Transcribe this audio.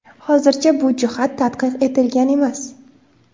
Hozircha bu jihat tadqiq etilgan emas.